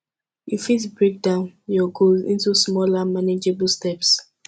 you fit break down your goals into smaller manageable steps